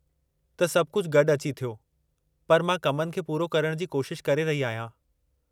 त सभु कुझु गॾु अची थियो, पर मां कमनि खे पूरो करण जी कोशिश करे रही आहियां।